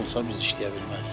Baha olsa biz işləyə bilmərik.